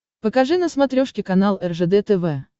покажи на смотрешке канал ржд тв